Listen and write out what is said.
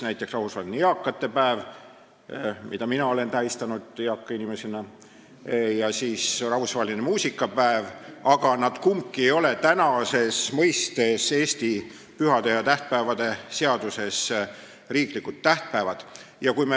On rahvusvaheline eakate päev, mida ka mina olen tähistanud eaka inimesena, ja rahvusvaheline muusikapäev, aga kumbki neist ei ole Eesti pühade ja tähtpäevade seaduses nimetatud riiklik tähtpäev.